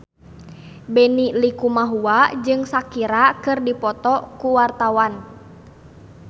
Benny Likumahua jeung Shakira keur dipoto ku wartawan